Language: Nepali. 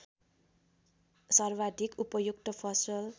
सर्वाधिक उपयुक्त फसल